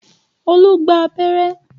Olú gba abẹ́rẹ́